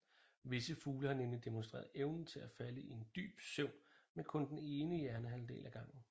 Visse fugle har nemlig demonstreret evnen til at falde i en dyb søvn med kun den ene hjernehalvdel ad gangen